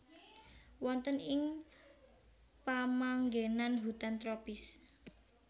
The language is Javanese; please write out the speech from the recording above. Wonten ing pamanggenan hutan tropis